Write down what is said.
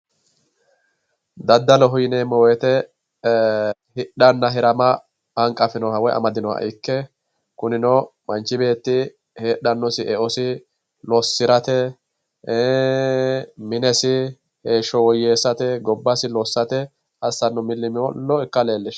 Daddaloho yineemmo woyte e"ee hidhanna hirama hanqafinoha woyi amadinoha ikke kunino manchi beetti heedhanosi eosi losirate minesi heeshsho woyyeessate gobbasi lossate assano milimilo ikka leelishshano daddalu.